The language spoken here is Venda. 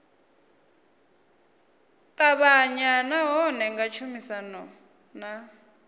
avhanya nahone nga tshumisano na